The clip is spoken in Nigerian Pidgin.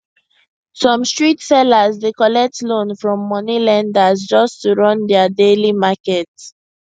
some street sellers dey collect loan from money lenders just to run their daily market